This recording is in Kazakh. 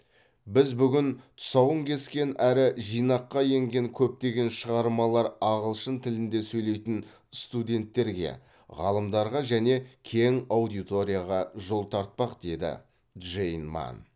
біз бүгін тұсауын кескен әрі жинаққа енген көптеген шығармалар ағылшын тілінде сөйлейтін студенттерге ғалымдарға және кең аудиторияға жол тартпақ деді джейн манн